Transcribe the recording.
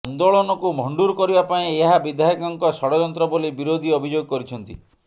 ଆନ୍ଦୋଳନକୁ ଭଣ୍ଡୁର କରିବା ପାଇଁ ଏହା ବିଧାୟକଙ୍କ ଷଡଯନ୍ତ୍ର ବୋଲି ବିରୋଧୀ ଅଭିଯୋଗ କରିଛନ୍ତି